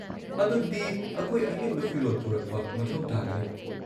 ꯑꯗꯨꯗꯤ , ꯑꯈꯣꯏ ꯑꯍꯦꯟꯕ ꯐꯤꯔꯣꯜ ꯄꯨꯔꯛꯄ ꯃꯊꯧ ꯇꯥꯒꯅꯤ꯫